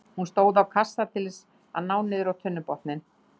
Hún stóð á kassa til þess að ná niður á tunnubotninn.